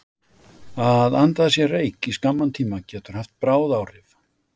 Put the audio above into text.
Að anda að sér reyk í skamman tíma getur haft bráð áhrif.